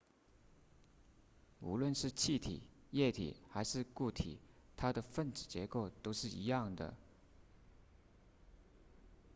无论是气体液体还是固体它的分子结构都是一样的